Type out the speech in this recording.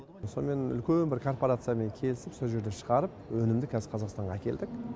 сонымен үлкен бір корпарациямен келісіп сол жерде шығарып өнімді қазір қазақстанға әкелдік